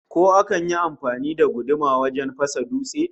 Ko akan yi amfani da guduma wajen fasa dutse?